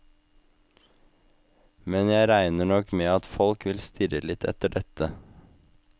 Men jeg regner nok med at folk vil stirre litt etter dette.